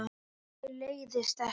Nei, mér leiðist ekki.